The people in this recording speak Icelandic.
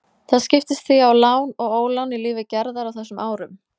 Það skiptist því á lán og ólán í lífi Gerðar á þessum árum.